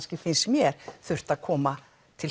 finnst mér þurft að koma til